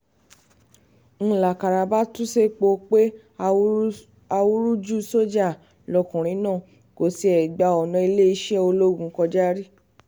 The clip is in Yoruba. ń lákàrà bá tú sẹpẹ́ pé awúrúju sójà lọkùnrin náà kò tiẹ̀ gba ọ̀nà iléeṣẹ́ ológun kọjá rí